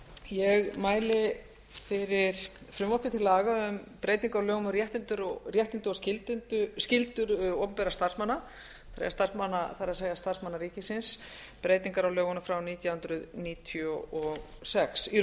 ég mæli fyrir frumvarpi til laga um breytingu á lögum um réttindi og skyldur opinberra starfsmanna það er starfsmanna ríkisins breytingar á lögunum frá nítján hundruð níutíu og sex í